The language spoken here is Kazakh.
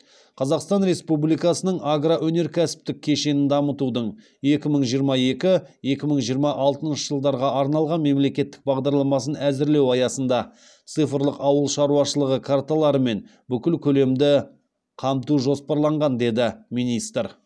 қазақстан республикасының агроөнеркәсіптік кешенін дамытудың екі мың жиырма екі екі мың жиырма алтыншы жылдарға арналған мемлекеттік бағдарламасын әзірлеу аясында цифрлық ауыл шаруашылығы карталарымен бүкіл көлемді қамту жоспарланған деді министр